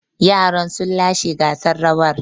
Yaran sun lashe gasar rawar.